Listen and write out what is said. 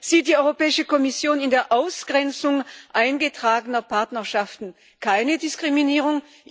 Sieht die Europäische Kommission in der Ausgrenzung eingetragener Partnerschaften keine Diskriminierung?